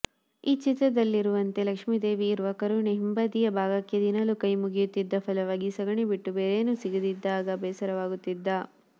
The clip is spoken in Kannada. ಆ ಚಿತ್ರದಲ್ಲಿರುವಂತೆ ಲಕ್ಷ್ಮೀದೇವಿ ಇರುವ ಕರುವಿನ ಹಿಂಬದಿಯ ಭಾಗಕ್ಕೆ ದಿನಾಲೂ ಕೈಮುಗಿಯುತ್ತಿದ್ದ ಫಲವಾಗಿ ಸಗಣಿ ಬಿಟ್ಟು ಬೇರೇನೂ ಸಿಗದಿದ್ದಾಗ ಬೇಸರವಾಗುತ್ತಿದ್ದ